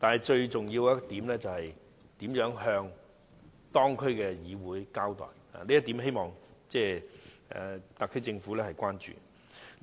最重要的是，當局如何向有關區議會交代，就這一點，希望特區政府關注。